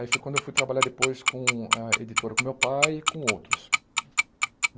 Aí foi quando eu fui trabalhar depois com a editora, com o meu pai e com outros.